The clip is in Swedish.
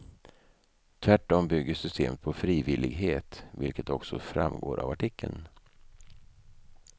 Tvärtom bygger systemet på frivillighet, vilket också framgår av artikeln.